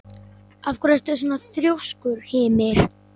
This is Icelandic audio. Af hverju ertu svona þrjóskur, Hymir?